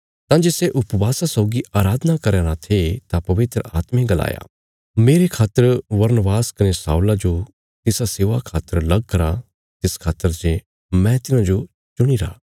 तां जे सै उपवासा सौगी अराधना करया राँ थे तां पवित्र आत्मे गलाया मेरे खातर बरनबास कने शाऊला जो तिसा सेवा खातर लग करा तिस खातर जे मैं तिन्हांजो चुणीरा